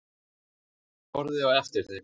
Ég horfði á eftir þeim.